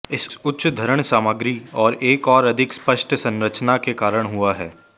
इस उच्च धरण सामग्री और एक और अधिक स्पष्ट संरचना के कारण हुआ है